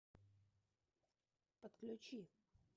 подключи